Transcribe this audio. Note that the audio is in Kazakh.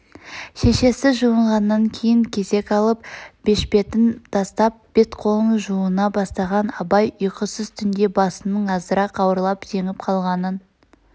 шешесі жуынғаннан кейн кезек алып бешпетін тастап бет-қолын жуына бастаған абай ұйқысыз түнде басының азырақ ауырлап зеңіп қалғанын